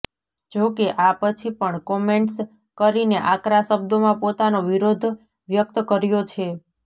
જો કે આ પછી પણ કમેન્ટ્સ કરીને આકરા શબ્દોમાં પોતાનો વિરોધ વ્યક્ત કર્યો છે